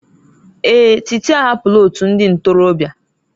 Èè, Títí ahapụla òtù ndị ntorobịa.